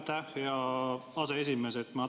Aitäh, hea aseesimees!